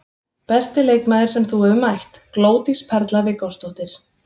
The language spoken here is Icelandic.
Besti leikmaður sem þú hefur mætt: Glódís Perla Viggósdóttir.